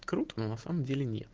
круто на самом деле